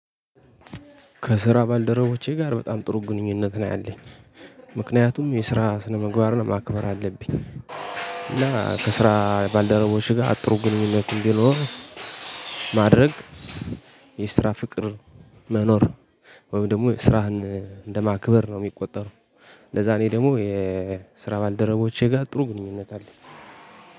ከስራ ባልደረቦቼ ጋር በጣም ጥሩ ግንኙነት ነው ያለኝ። ምክንያቱም የስራ ስነምግባርን ማክበር አለብኝ። እና ከስራ ባልደረቦቼ ጋር ጥሩ ግንኙነት እንዲኖር ማድረግ የስራ ፍቅር መኖር ወይም ደግሞ ስራህን እንደማክበር ነው ሚቆጠረው። ለዛ እኔ ደሞ የስራ ባልደረቦቼ ጋር ጥሩ ግንኙነት አለኝ።